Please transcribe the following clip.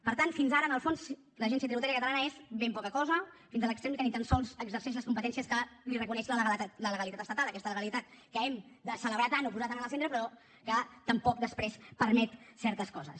per tant fins ara en el fons l’agència tributària catalana és ben poca cosa fins a l’extrem que ni tan sols exerceix les competències que li reconeix la legalitat estatal aquesta legalitat que hem de celebrar tant o posar tant en el centre però que tampoc després permet certes coses